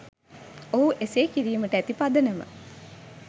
ඔහු එසේ කිරීමට ඇති පදනම